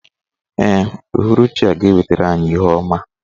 Ee, uhuruchi a ga-ewetara anyị ihe ọma.